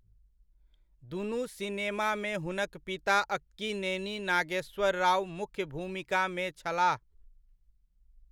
दुनु सिनेमामे हुनक पिता अक्कीनेनी नागेश्वर राव मुख्य भूमिकामे छलाह।